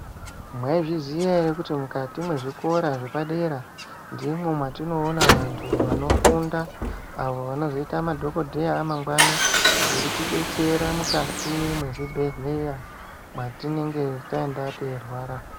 Mwaizviziya ere kuti mukati mezvikora zvepadera ndimo matinoona vantu vanofunda, avo vanozoita madhogodheya amangwani veitidetsera mukati mwezvibhedhlera mwatinenge taenda teirwara.